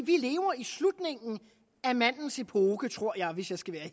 vi lever i slutningen af mandens epoke tror jeg hvis jeg skal være